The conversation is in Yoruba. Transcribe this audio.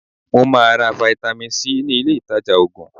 Mo máa ra fáítámì C ní ilé ìta Ògùn.